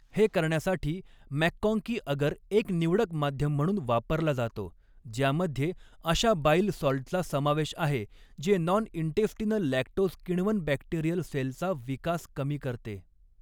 हे करण्यासाठी MacConkey agar एक निवडक माध्यम म्हणून वापरला जातो ज्यामध्ये अशा बाइल सॉल्टचा समावेशआहे जे नॉन इन्टेस्टिनल लॅक्टोज किण्वन बॅक्टेरियल सेलचा विकास कमी करते.